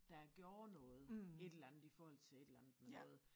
Der gjorde noget et eller andet i forhold til et eller andet med noget